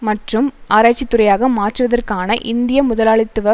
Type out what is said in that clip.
மற்றும் ஆராய்ச்சித் துறையாக மாற்றுதற்கான இந்திய முதலாளித்துவ